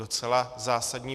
Docela zásadní.